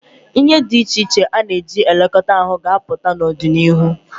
Ihe dị iche iche a na-eji elekọta ahụ ga-apụta n'ọdịnihu.